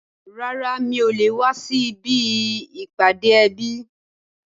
Rárá, mi ò le wá sí ibi ìpàdé ẹbí